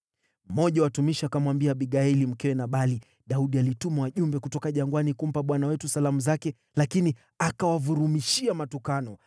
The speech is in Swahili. Mmoja wa watumishi akamwambia Abigaili, mkewe Nabali: “Daudi alituma wajumbe kutoka jangwani kumpa bwana wetu salamu zake, lakini akawavurumishia matukano.